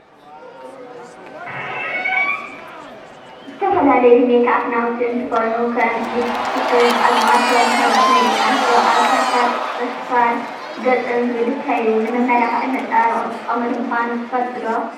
ዝተፈላለዩ ሜክኣፕ ናውቲ እንትኮኑ ከም ሊፒስቲክን ኣዝማልቶን ካልኦትን ናይ ደቂ ኣንስትዮ ኣብ ከንፈርን ፅፍር፣ ገፅን ዝልከዩ ንመመላክዕን መፀባበቅን ዝጥቀማሉ ምኳነን ትፈልጡ ዶ ?